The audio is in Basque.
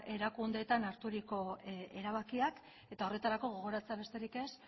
erakundeetan harturiko erabakiak eta horretarako gogoratzea besterik ez